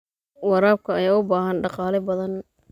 Waraabka ayaa u baahan dhaqaale badan.